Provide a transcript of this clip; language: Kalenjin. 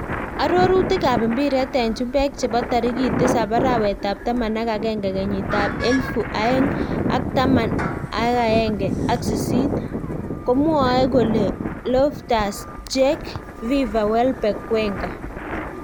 Arorutik ab mpiret en chumbek chebo tarikit tisap arawet ap taman ak agenge kenyit ab elfu aeng ak taman ahenge ak sisit komwae kole ; Loftus-Cheek, Fifa ,Welbeck, Wenger